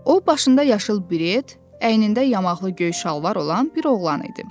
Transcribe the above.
O başında yaşıl beret, əynində yamaqlı göy şalvar olan bir oğlan idi.